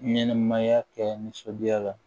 Ɲɛnɛmaya kɛ nisɔndiya la